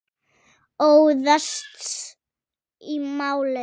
Óðst í málið.